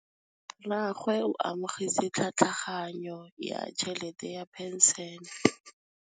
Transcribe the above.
Rragwe o amogetse tlhatlhaganyô ya tšhelête ya phenšene.